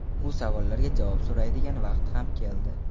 Bu savollarga javob so‘raydigan vaqt ham keldi.